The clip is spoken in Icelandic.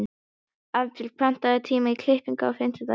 Hafbjörg, pantaðu tíma í klippingu á fimmtudaginn.